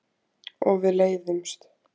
Og við leiðumst.